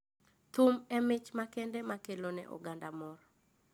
Thum e mich makende makelo ne oganda mor